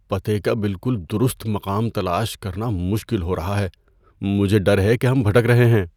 پتے کا بالکل درست مقام تلاش کرنا مشکل ہو رہا ہے۔ مجھے ڈر ہے کہ ہم بھٹک رہے ہیں۔